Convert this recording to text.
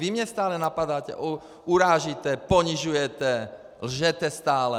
Vy mě stále napadáte, urážíte ponižujete, lžete stále.